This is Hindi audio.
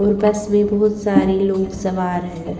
और बस में बहुत सारे लोग सवार हैं।